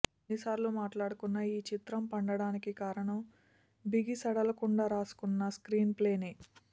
ఎన్నిసార్లు మాట్లాడుకున్నా ఈ చిత్రం పండటానికి కారణం బిగిసడలకుండా రాసుకున్న స్క్రీన్ ప్లేనే